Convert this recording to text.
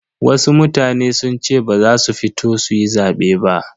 Wasu mutane sun ce ba za su fito suyi zabe ba.